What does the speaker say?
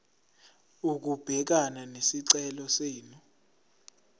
ukubhekana nesicelo senu